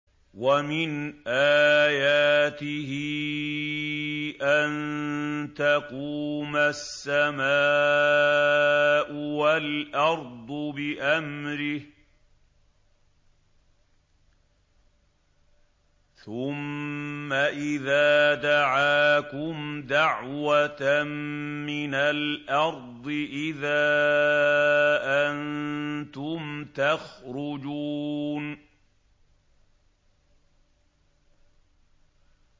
وَمِنْ آيَاتِهِ أَن تَقُومَ السَّمَاءُ وَالْأَرْضُ بِأَمْرِهِ ۚ ثُمَّ إِذَا دَعَاكُمْ دَعْوَةً مِّنَ الْأَرْضِ إِذَا أَنتُمْ تَخْرُجُونَ